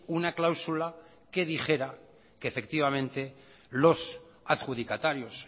una cláusula que dijera que efectivamente los adjudicatarios